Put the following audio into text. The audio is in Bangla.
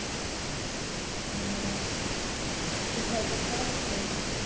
হম কোথায় পরীক্ষাটা কোথায় হচ্ছে